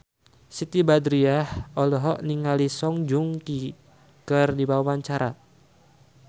Siti Badriah olohok ningali Song Joong Ki keur diwawancara